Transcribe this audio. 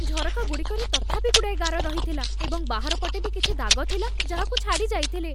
ଝରକା ଗୁଡ଼ିକରେ ତଥାପି ଗୁଡ଼ାଏ ଗାର ରହିଥିଲା, ଏବଂ ବାହାର ପଟେ ବି କିଛି ଦାଗ ଥିଲା ଯାହାକୁ ଛାଡ଼ିଯାଇଥିଲେ।